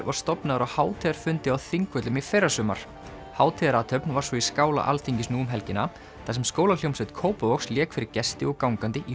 var stofnaður á hátíðarfundi á Þingvöllum í fyrrasumar var svo í skála Alþingis nú um helgina þar sem skólahljómsveit Kópavogs lék fyrir gesti og gangandi í